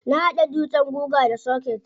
Na hada dutsen guga da soket.